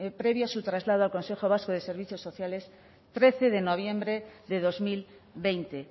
previo a su traslado al consejo vasco de servicios sociales trece de noviembre de dos mil veinte